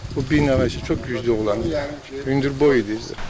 O bir nəfər işi çox güclü olan idi, hündürboy idi.